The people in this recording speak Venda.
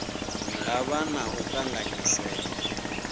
nga vha na u kanganyisea